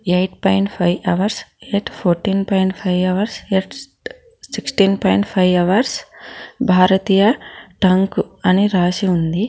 Eight point five hours at fourteen point five hours at sixteen point five hours భారతీయ టంక్ అని రాసి ఉంది.